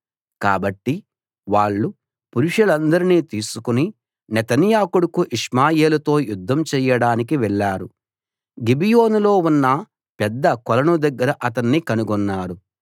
కాబట్టి వాళ్ళు పురుషులందరినీ తీసుకుని నెతన్యా కొడుకు ఇష్మాయేలుతో యుద్ధం చెయ్యడానికి వెళ్ళారు గిబియోనులో ఉన్న పెద్ద కొలను దగ్గర అతన్ని కనుగొన్నారు